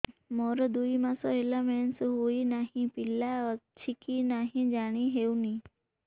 ମୋର ଦୁଇ ମାସ ହେଲା ମେନ୍ସେସ ହୋଇ ନାହିଁ ପିଲା ଅଛି କି ନାହିଁ ଜାଣି ହେଉନି